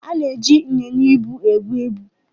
A na-eji ịnyịnya ibu ebu ibu.